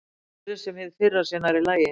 Svo virðist sem hið fyrra sé nærri lagi.